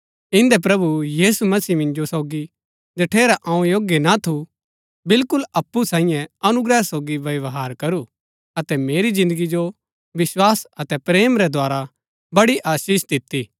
इन्दै प्रभु यीशु मसीह मिन्जो सोगी जठेरै अऊँ योग्य ना थू बिलकुल अप्पु सांईये अनुग्रह सोगी व्यवहार करू अतै मेरी जिन्दगी जो विस्वास अतै प्रेम रै द्धारा बड़ी आशीष दिती